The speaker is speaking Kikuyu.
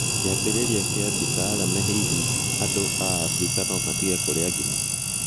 kĩambĩrĩria kĩa mbica, Alamy Hihi andũ a Abirika no matinge kũria gima?